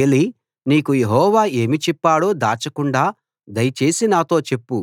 ఏలీ నీకు యెహోవా ఏమి చెప్పాడో దాచకుండా దయచేసి నాతో చెప్పు